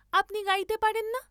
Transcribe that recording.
আপনি গাইতে পারেন না?